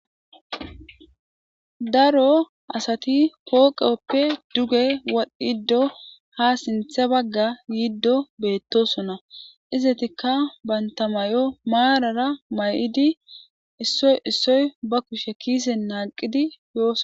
Daro asati pooqeppe duge wadhdhiddo ha sinthe bagga yiiddo beettosona izatikka bantamay'o maarara may'idi issoy issoy ba kushe kiise naaqidi yooso.